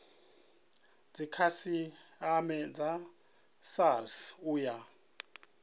dzikhasiama dza srsa u ya